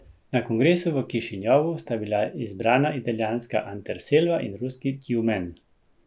Na kongresu v Kišinjovu sta bila izbrana italijanska Anterselva in ruski Tjumen.